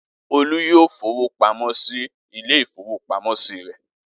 Olú yóò fowó pamọ́ sí ilé-ìfowópamọ́sí rẹ̀!